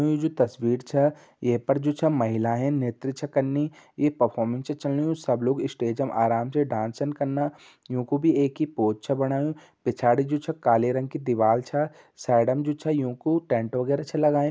यूं जु तस्वीर छ ये पर जु छ महिलाहेन नेत्र छ कन्नी। ये परफॉरमेंच च चलनी। यूं सब लोग इस्टेजम आराम से डाँसन कन्ना। युं को बि एक ही पोज छ बणायूँ। पिछाड़ि जु छ काले रंग की दिवाल छ। साइडम जु छ यूं कू टेंट वगेरा छ लगायूं।